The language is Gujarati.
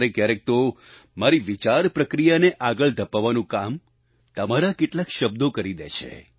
ક્યારેક ક્યારેક તો મારી વિચાર પ્રક્રિયાને આગળ ધપાવવાનું કામ તમારા કેટલાક શબ્દો કરી દે છે